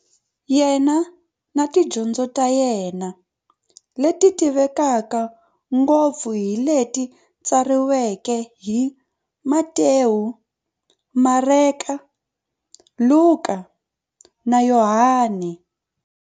Yena na tidyondzo ta yena, leti tivekaka ngopfu hi leti tsariweke hi-Matewu, Mareka, Luka, na Yohani.